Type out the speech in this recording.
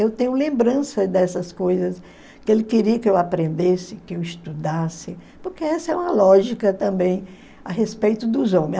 Eu tenho lembrança dessas coisas, que ele queria que eu aprendesse, que eu estudasse, porque essa é uma lógica também a respeito dos homem.